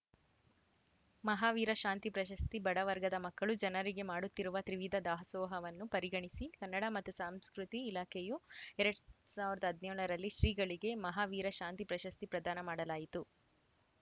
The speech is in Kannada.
ಮಹಾವೀರ ಶಾಂತಿ ಪ್ರಶಸ್ತಿ ಬಡವರ್ಗದ ಮಕ್ಕಳು ಜನರಿಗೆ ಮಾಡುತ್ತಿರುವ ತ್ರಿವಿಧ ದಾಸೋಹವನ್ನು ಪರಿಗಣಿಸಿ ಕನ್ನಡ ಮತ್ತು ಸಂಸ್ಕೃತಿ ಇಲಾಖೆಯು ಎರಡ್ ಸಾವಿರದ ಹದಿನೇಳರಲ್ಲಿ ಶ್ರೀಗಳಿಗೆ ಮಹಾವೀರ ಶಾಂತಿ ಪ್ರಶಸ್ತಿ ಪ್ರದಾನ ಮಾಡಲಾಯಿತು